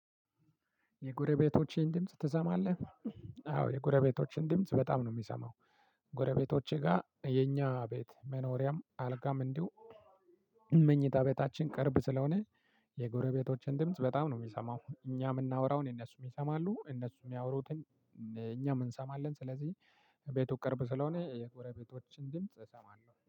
"የጎረቤቶችህን ድምጽ ትሰማለህ?" አዎ የጎረቤቶችን ድምጽ በጣም ነው የምሰማው። ጎረቤቶቼ ጋር የኛ ቤት መኖሪያም አልጋም እንዲሁ መኝታ ቤታችን ቅርብ ስለሆነ የጎረቤቶችን ድምጽ በጣም ነው የምሰማው። እኛ የምናወራውን እነሱም ይሰማሉ፤ እነሱም ሚያውሩትን እኛ እንሰማለን። ስለዚህ ቤቱ ቅርብ ስለሆነ የጎረቤቶችን ድምጽ እሰማለሁ።